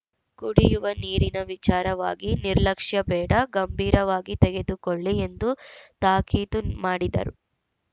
ಕುಡಿಯುವ ನೀರಿನ ವಿಚಾರವಾಗಿ ನಿರ್ಲಕ್ಷ್ಯ ಬೇಡ ಗಂಭೀವಾಗಿ ತೆಗೆದುಕೊಳ್ಳಿ ಎಂದು ತಾಕೀತು ಮಾಡಿದರು